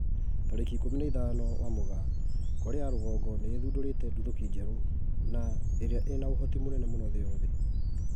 Tarĩki ikũmi na ithano wa Mugaa, Korea ya rũgongo nĩ ĩthundũrite nduthũki njerũ na ĩria ĩna ũhoti mũnene mũno thĩ yothe